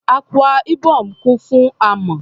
Akwa Ibom kún fún amọ̀.